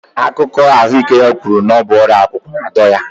Akụkọ ahụike ya kwuru na ọ bụ ọrịa akwụkwụ na-adọ